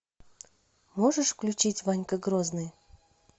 можешь включить ванька грозный